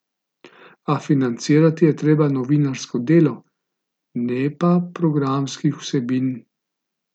A financirati je treba novinarsko delo, ne pa programskih vsebin.